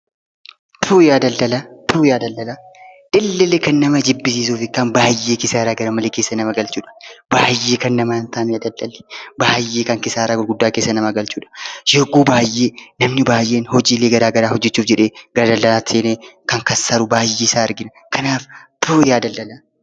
AJAB ABBAA ODUU🤣🤣 Yaa daldalaa garmalee keessa nama galchudha. Baay'ee kan nama hin taanedha daldalli. Baay'ee kisaaraa gurguddaa keessa kan nama galchudha. Yogguu baay'ee, namni baay'een hojiilee garaa garaa hojjechuuf jedhee gara daldalaatti seenee kan kassaru baay'eesaa argina. Kanaaf tuuuu! Yaa daldalaa! TUFAA JIRAMOO NAAF HIN GALLE, SIRREESSAAMEE IJOO! KUN ISA TAA'UU JAALLATUDHA, DALDALA HIN JAALLATU WAAN TA'EEF!